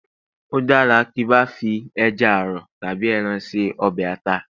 o dara kiba fi eja arọ tabi ẹran se ọbè ata